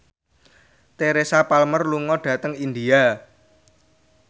Teresa Palmer lunga dhateng India